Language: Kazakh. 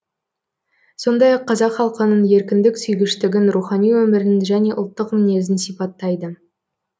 сондай ақ қазақ халқының еркіндік сүйгіштігін рухани өмірін және ұлттық мінезін сипаттайды